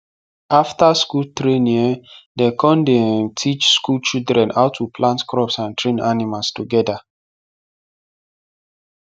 after school training um dem con dey um teach school children how to plant crops and train animals togeda